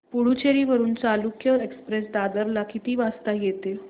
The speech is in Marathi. पुडूचेरी वरून चालुक्य एक्सप्रेस दादर ला किती वाजता येते